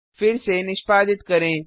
फिर से निष्पादित करें